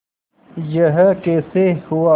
यह कैसे हुआ